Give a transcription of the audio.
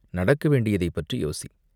நடக்க வேண்டியதைப் பற்றி யோசி!